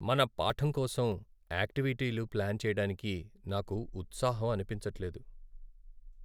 మన పాఠం కోసం యాక్టివిటీలు ప్లాన్ చెయ్యటానికి నాకు ఉత్సాహం అనిపించట్లేదు.